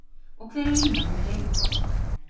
Og hver er línan, með leyfi forseta?